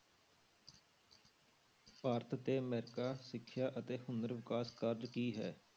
ਭਾਰਤ ਤੇ ਅਮਰੀਕਾ ਸਿੱਖਿਆ ਅਤੇ ਹੁਨਰ ਵਿਕਾਸ ਕਾਰਜ ਕੀ ਹੈ?